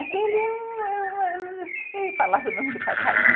Aquele é um... Ele falava o nome do passarinho.